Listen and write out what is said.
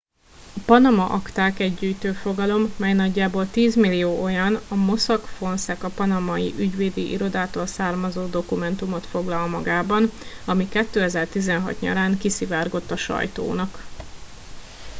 a panama akták egy gyűjtőfogalom mely nagyjából tízmillió olyan a mossack fonseca panamai ügyvédi irodától származó dokumentumot foglal magában ami 2016 nyarán kiszivárgott a sajtónak